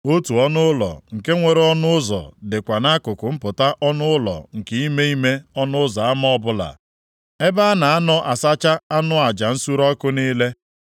Otu ọnụụlọ nke nwere ọnụ ụzọ dịkwa nʼakụkụ mpụta ọnụ ụlọ nke ime ime ọnụ ụzọ ama ọbụla, ebe a na anọ asacha anụ aja nsure ọkụ niile.